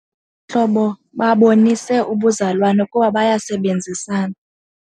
hlobo babonisa ubuzalwane kuba bayasebenzisana.